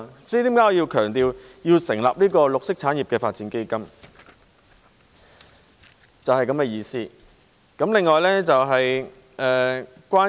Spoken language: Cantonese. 這是為何我強調要設立綠色產業發展基金，意思就是這樣。